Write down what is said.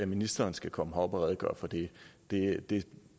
ministeren skal komme herop og redegøre for det det